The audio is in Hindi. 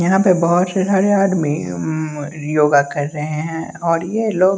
यहां पे बहोत से घर घर में योगा कर रहे हैं और ये लोग--